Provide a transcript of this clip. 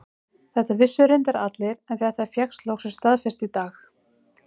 Þetta vissu reyndar allir en þetta fékkst loksins staðfest í dag.